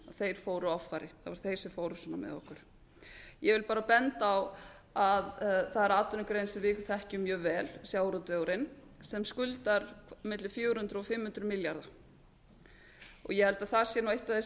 þar fóru offari það voru þeir sem fóru svona með okkur ég vil bara benda á að það er atvinnugrein sem við þekkjum mjög vel sjávarútvegurinn sem skuldar milli fjögur hundruð og fimm hundruð milljarða ég held að það sé eitt af því sem við þyrftum